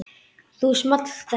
Þá small þetta